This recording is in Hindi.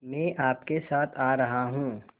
मैं आपके साथ आ रहा हूँ